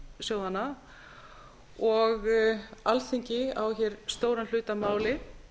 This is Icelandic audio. fjárfestingarsjóðanna og alþingi á hér stóran hlut að máli